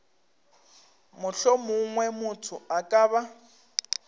mohlomongwe motho a ka ba